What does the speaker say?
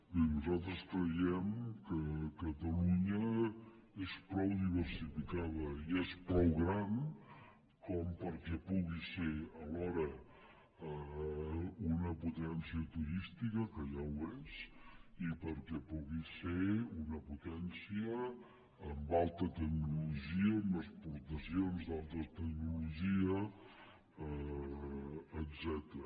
bé nosaltres creiem que catalunya és prou diversificada i és prou gran perquè pugui ser alhora una potència turística que ja ho és i perquè pugui ser una potència en alta tecnologia en exportacions d’alta tecnologia etcètera